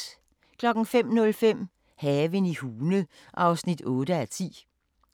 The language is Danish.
05:05: Haven i Hune (8:10)